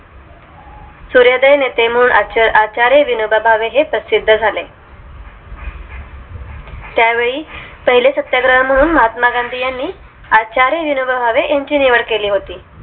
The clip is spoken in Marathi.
सूर्यादय नेते म्हणून आचार्य विनोबा भावे हे प्रसिद्ध झाले त्यावेळी पहिले सत्याग्रही म्हणून महात्मा गांधी यांनी आचार्य विनोबा भावे यांची निवड केली